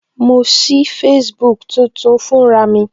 Mo sí Facebook tuntun fún ra mi